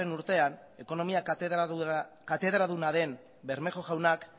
urtean ekonomia katedraduna den bermejo jaunak